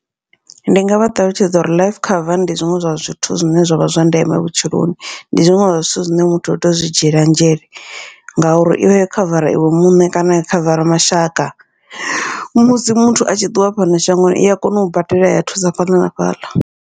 Ndi ngavha ṱalutshedza uri life cover ndi zwiṅwe zwa zwithu zwine zwavha zwa ndeme vhutshiloni, ndi zwiṅwe zwa zwithu zwine muthu utea uto zwi dzhiela nzhele. Ngauri ivha yo khavara iwe muṋe kana ya khavara mashaka, musi muthu a tshi ṱuwa fhano shangoni iya kona u badela ya thusa fhaḽa na fhaḽa.